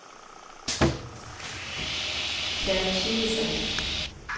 Tjadsjikistan